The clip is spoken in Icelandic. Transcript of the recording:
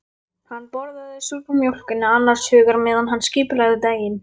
Hann borðaði súrmjólkina annars hugar meðan hann skipulagði daginn.